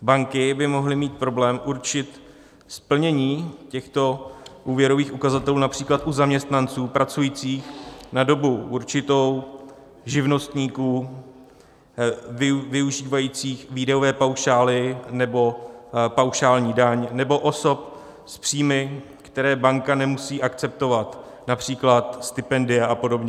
Banky by mohly mít problém určit splnění těchto úvěrových ukazatelů například u zaměstnanců pracujících na dobu určitou, živnostníků využívajících výdajové paušály nebo paušální daň nebo osob s příjmy, které banka nemusí akceptovat, například stipendia a podobně.